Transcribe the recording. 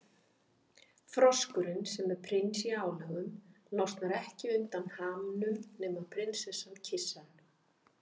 Froskurinn, sem er prins í álögum, losnar ekki undan hamnum nema prinsessa kyssi hann.